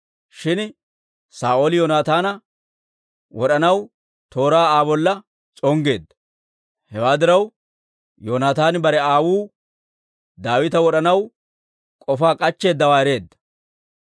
Shin Saa'ooli Yoonataana wod'anaw tooraa Aa bolla s'onggeedda. Hewaa diraw, Yoonataani bare aawuu Daawita wod'anaw k'ofaa k'achcheeddawaa ereedda.